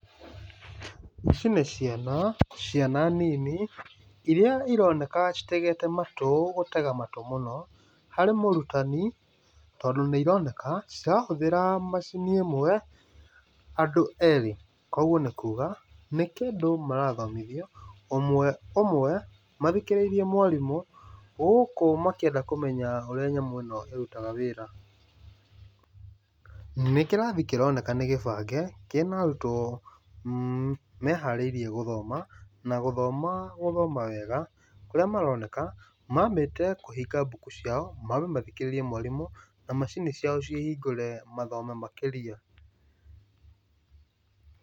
Ici nĩ ciana, ciana nini, iria ironeka citegete matũ, gũtega matũ mũno, harĩ mũrutani, tondũ nĩ ironeka, cirahũthĩra macini ĩmwe andũ erĩ. Kũguo nĩ kuga, nĩ kĩndũ marathomithio, ũmwe ũmwe, mathikĩrĩirie mwarimũ, gũkũ makĩenda kũmenya ũrĩa nyamũ ĩno ĩrutaga wĩra. Nĩ kĩrathi kĩroneka nĩ gĩbange, kĩna arutwo meharĩirie gũthoma, na gũthoma, gũthoma wega, kũrĩa maroneka, mambĩte kũhinga mbuku ciao, mambe mathikĩrĩrie mwarimũ, na macini ciao ciĩ hingũre mathome makĩria.